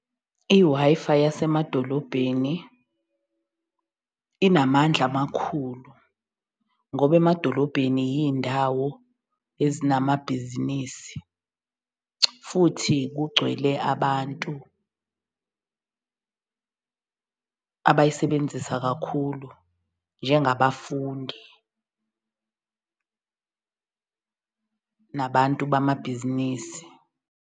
I-Wi-Fi yasemadolobheni inamandla amakhulu ngoba emadolobheni yiy'ndawo ezinamabhizinisi futhi kugcwele abantu abayisebenzisa kakhulu njengabafundi, nabantu bamabhizinisi.